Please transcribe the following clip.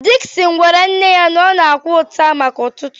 Dickson gwara nne ya na ọ na-akwa ụta maka ụtụtụ